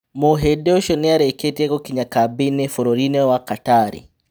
Muhĩ ndi ũcio niarĩ kĩ tie gũkinya kambĩ inĩ burũrinĩ wa Katari.